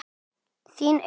Þín Auður.